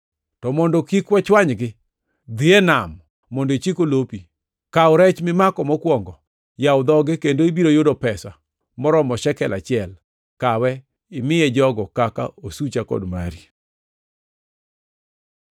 To mondo kik wachwanygi, dhi e nam mondo ichik olopi; kaw rech mimako mokwongo; yaw dhoge, kendo ibiro yudo pesa moromo shekel achiel. Kawe imiye jogo kaka osucha kod mari.”